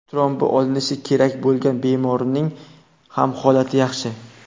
Trombi olinishi kerak bo‘lgan bemorning ham holati yaxshi.